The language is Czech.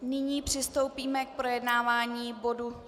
Nyní přistoupíme k projednávání bodu